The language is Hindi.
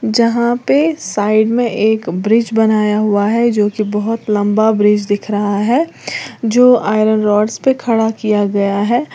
जहां पे साइड में एक ब्रिज बनाया हुआ है जो की बहुत लंबा ब्रिज दिख रहा है जो आयरन रॉडस पर खड़ा किया गया है।